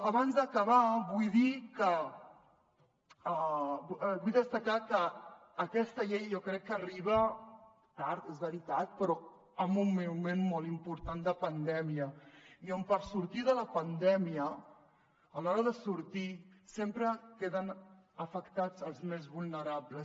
abans d’acabar vull destacar que aquesta llei jo crec que arriba tard és veritat però en un moment molt important de pandèmia i on per sortir de la pandèmia a l’hora de sortir sempre queden afectats els més vulnerables